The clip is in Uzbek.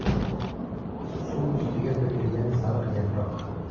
Suv ustiga to‘kilgan sariq yaproq.